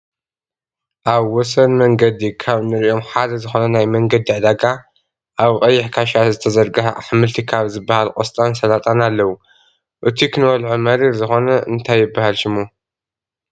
ኣብ ወሰን መንግዲ ካብ እንርእዮም ሓደ ዝኮነ ናይ መንገዲ ዕዳጋ ኣብ ቀይሕ ክሻ ዝተዘርገሐ ኣሕምልቲ ካብ ዝብሃል ቆስጣን ሰላጣን ኣለው። እቱይ ክንበልዖ መሪር ዝኮነ እንታይ ይብሃል ሽሙ?